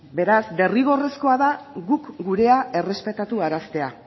beraz derrigorrezkoa da guk gurea errespetaraztea